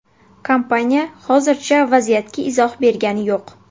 Kompaniya hozircha vaziyatga izoh bergani yo‘q.